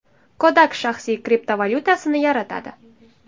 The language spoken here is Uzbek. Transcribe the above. Kodak shaxsiy kriptovalyutasini yaratadi.